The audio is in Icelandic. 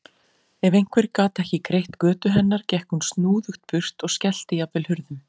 Ef einhver gat ekki greitt götu hennar gekk hún snúðugt burt og skellti jafnvel hurðum.